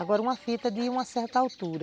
Agora, uma fita de uma certa altura.